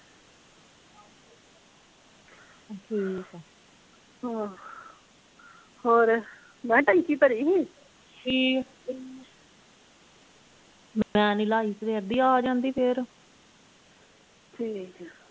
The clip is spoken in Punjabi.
ਠੀਕ ਆ ਹਾਂ ਹੋਰ ਮੈਂ ਕਿਹਾ ਟੈਂਕੀ ਭਰੀ ਸੀ ਸਵੇਰ ਦੀ ਆ ਜਾਂਦੀ ਫੇਰ ਠੀਕ ਆ।